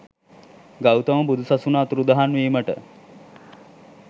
ගෞතම බුදු සසුන අතුරුදහන් වීමට